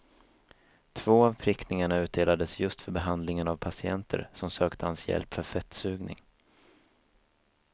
Två av prickningarna utdelades just för behandlingen av patienter som sökte hans hjälp för fettsugning.